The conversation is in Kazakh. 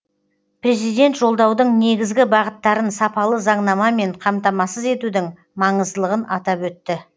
президент жолдаудың негізгі бағыттарын сапалы заңнамамен қамтамасыз етудің маңыздылығын атап өтті